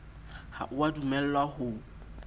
ha o a dumellwa ho